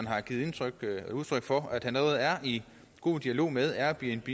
har givet udtryk for allerede er i god dialog med airbnb